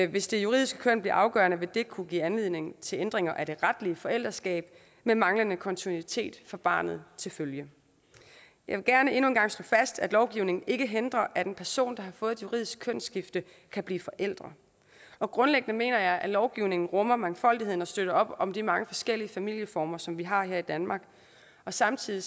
hvis det juridiske køn bliver afgørende vil det kunne give anledning til ændringer af det retlige forældreskab med manglende kontinuitet for barnet til følge jeg vil gerne endnu en gang slå fast at lovgivningen ikke hindrer at en person der har fået et juridisk kønsskifte kan blive forælder og grundlæggende mener jeg at lovgivningen rummer mangfoldigheden og støtter op om de mange forskellige familieformer som vi har her i danmark samtidig